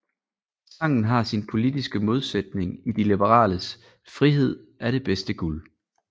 Sangen har sin politiske modsætning i de liberales Frihed er det bedste guld